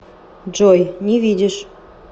джой не видишь